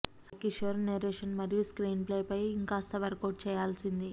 Sai Kishore narration మరియు screenplay పై ఇంకాస్త వర్కౌట్ చేయాల్సింది